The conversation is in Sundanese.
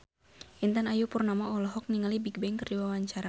Intan Ayu Purnama olohok ningali Bigbang keur diwawancara